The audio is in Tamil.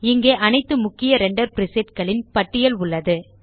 இங்கே அனைத்து முக்கிய ரெண்டர் பிரிசெட் களின் பட்டியல் உள்ளது